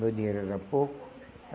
Meu dinheiro era pouco.